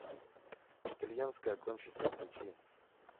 итальянская гонщица включи